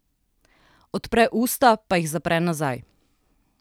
Odpre usta pa jih zapre nazaj.